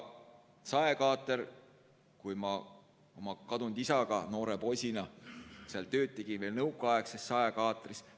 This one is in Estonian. Aga ma oma kadunud isaga noore poisina tegin tööd veel nõukaaegses saekaatris.